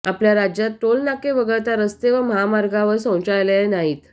आपल्या राज्यात टोलनाके वगळता रस्ते व महामार्गांवर शौचालये नाहीत